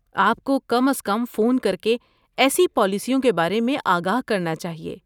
آپ کو کم از کم فون کرکے ایسی پالیسیوں کے بارے میں آگاہ کرنا چاہیے۔